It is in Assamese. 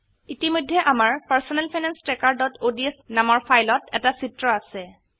ইতিমধেয় আমাৰ personal finance trackerঅডছ নামৰ ফাইলত এটা চিত্ৰ আছে